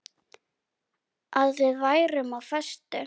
Að við værum á föstu.